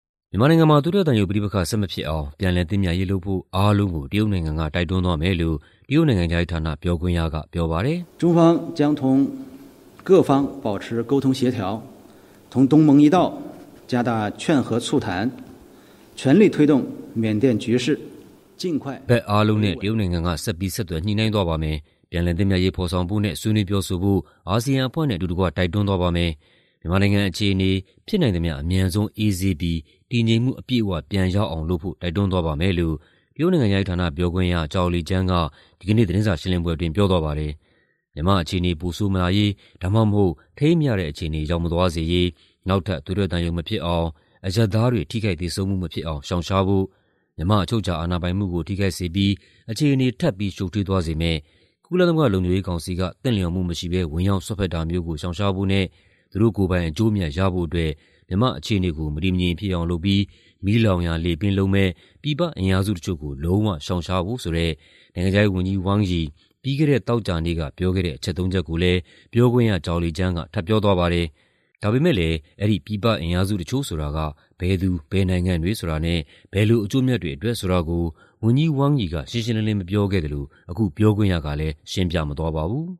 မြန်မာနိုင်ငံမှာ သွေးထွက်သံယိုပဋိပက္ခ ဆက်မဖြစ်အောင် ပြန်လည်သင့်မြတ်ရေးလုပ်ဖို့ အားလုံးကို တရုတ်နိုင်ငံက တိုက်တွန်းသွားမယ်လို့ တရုတ်နိုင်ငံခြားရေးဌာန ပြောခွင့်ရက ပြောပါတယ်။ "ဘက်အားလုံးနဲ့ တရုတ်နိုင်ငံက ဆက်ပြီး ဆက်သွယ် ညှိနှိုင်းသွားပါမယ်။ ပြန်လည်သင့်မြတ်ရေး ဖော်ဆောင်ဖို့နဲ့ ဆွေးနွေးပြောဆိုဖို့ အာဆီယံအဖွဲ့နဲ့အတူတကွ တိုက်တွန်းသွားပါမယ်။ မြန်မာနိုင်ငံအခြေအနေ ဖြစ်နိုင်သမ ျှအမြန်ဆုံး အေးဆေးပြီး တည်ငြိမ်မှု အပြည့်အဝပြန်ရအောင်လုပ်ဖို့ တိုက်တွန်းသွားပါမယ်။" လို့ တရုတ်နိုင်ငံခြားရေးဌာန ပြောခွင့်ရ Zhao Lijian က ဒီကနေ့ သတင်းစာရှင်းလင်းပွဲအတွင်း ပြောသွားပါတယ်။ မြန်မာ့အခြေအနေ ပိုဆိုးမလာရေး ဒါမှမဟုတ် ထိန်းမရတဲ့အခြေအနေ ရောက်မသွားစေရေး နောက်ထပ် သွေးထွက်သံယို မဖြစ်အောင်၊ အရပ်သားတွေ ထိခိုက်သေဆုံးမှုမဖြစ်အောင် ရှောင်ရှားဖို့၊ မြန်မာ့အချုပ်အခြာအာဏာပိုင်မှုကို ထိခိုက်စေပြီး အခြေအနေ ထပ်ပြီး ရှုပ်ထွေးသွားစေမယ့် ကုလသမဂ္ဂလုံခြုံရေးကောင်စီက သင့်လျော်မှုမရှိဘဲ ဝင်ရောက်စွက်ဖက်တာမျိုးကို ရှောင်ရှားဖို့နဲ့ သူတို့ကိုယ်ပိုင်အကျိုးအမြတ်ရဖို့အတွက် မြန်မာ့အခြေအနေကို မတည်မငြိမ်ဖြစ်အောင်လုပ်ပြီး မီးလောင်ရာလေပင့်လုပ်မယ့် ပြည်ပအင်အားစုတချို့ကို လုံးဝရှောင်ရှားဖို့ဆိုတဲ့ နိုင်ငံခြားရေးဝန်ကြီး Wang Yi သောကြာနေ့က ပြောခဲ့တဲ့ အချက်သုံးချက်ကိုလည်း ပြောခွင့်ရ Zhao Lijian က ထပ်ပြောသွားပါတယ်။ ဒါပေမဲ့လည်း အဲဒီ ပြည်ပအင်အားစုတချို့ဆိုတာက ဘယ်သူ ဘယ်နိုင်ငံတွေဆိုတာနဲ့ ဘယ်လိုအကျိုးအမြတ်တွေအတွက်ဆိုတာကိုတော့ ဝန်ကြီး Wang Yi က ရှင်းရှင်းလင်းလင်းမပြောခဲ့သလို အခု ပြောခွင့်ရကလည်း ရှင်းမပြသွားပါဘူး